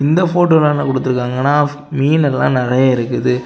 இந்த ஃபோட்டோல என்ன குடுத்துருக்காங்கன்னா மீன் எல்லாம் நறைய இருக்குது.